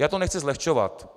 Já to nechci zlehčovat.